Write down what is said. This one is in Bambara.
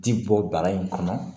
Ti bɔ bana in kɔnɔ